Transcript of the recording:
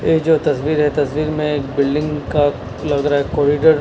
ये जो तस्वीर है तस्वीर में एक बिल्डिंग का लग रहा है कॉरिडोर --